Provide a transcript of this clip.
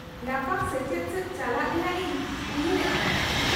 -ᱞᱟᱯᱷᱟᱝ ᱥᱮᱪᱮᱫ ᱥᱮᱪ ᱪᱟᱞᱟᱜ ᱨᱮᱭᱟᱜ ᱤᱧ ᱩᱭᱦᱟᱹᱨᱮᱫ ᱠᱟᱱᱟ ᱾